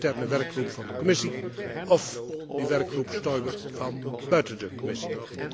De interne werkgroep van de Commissie of de werkgroep Stoiber van buiten de Commissie?